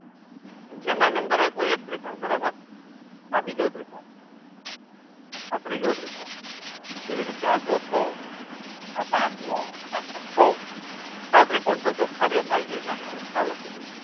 જેમાં નંબર આપ્યો એક ત્રિકોણ બરાબર આ બીજો ત્રિકોણ આ ત્રીજો ત્રિકોણ કેવી રીતે આ ચોથો આ પાંચમો આ છથથો છ ત્રિકોણ તો ચોખા દેખાય છે એટલે મુ અહિયાં છ લખી દઉં